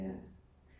Ja